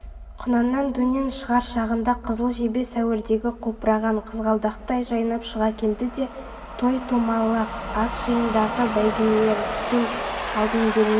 құнаннан дөнен шығар шағында қызыл жебе сәуірдегі құлпырған қызғалдақтай жайнап шыға келді де той-томалақ ас-жиындағы бәйгелердің алдын бермей